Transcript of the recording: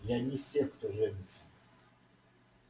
я не из тех кто женится